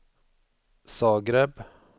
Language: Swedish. Zagreb